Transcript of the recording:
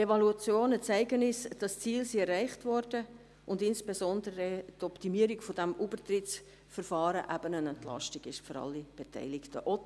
Die Evaluationen zeigen uns, dass die Ziele erreicht wurden und insbesondere, dass die Optimierung dieses Übertrittsverfahrens eine Entlastung für alle Beteiligten ist.